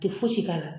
Tɛ fosi k'a la